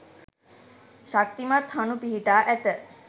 ශක්තිමත් හණු පිහිටා ඇත.